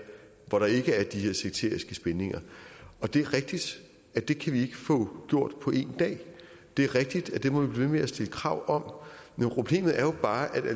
hvor der ikke er de her sekteriske spændinger det er rigtigt at det kan vi ikke få gjort på én dag det er rigtigt at det må vi blive ved med at stille krav om men problemet er jo bare vil